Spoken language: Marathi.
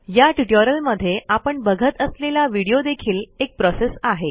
या ट्युटोरियलमध्ये आपण बघत असलेला व्हिडिओ देखील एक प्रोसेस आहे